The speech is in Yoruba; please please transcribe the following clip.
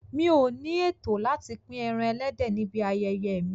Mi ò ní ètò láti pín ẹran ẹlẹ́dẹ̀ níbi ayẹyẹ mi.